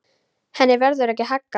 Henni verður ekki haggað.